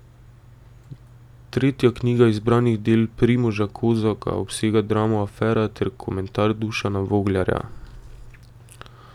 Tretja knjiga zbranih del Primoža Kozaka obsega dramo Afera ter komentar Dušana Voglarja.